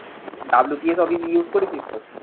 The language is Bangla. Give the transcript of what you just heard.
WPS office use করেছিস তো?